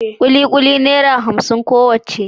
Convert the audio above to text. kikuli naira hamsin kowacce